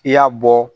I y'a bɔ